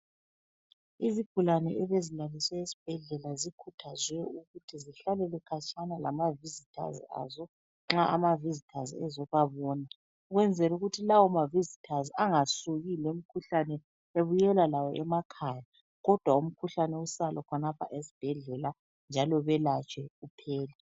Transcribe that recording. Izigulane ebezilaliswe esibhedlela zikhuthazwe ukuthi zihlalele khatshana lamavizithazi azo nxa amavizithazi ezobabona. Ukwenzela ukuthi lawo mavizithazi angasuki lemkhuhlane ebuyela lawo emakhaya kodwa umkhuhlane usale khonapho esibhedlela njalo belatshwe uphele.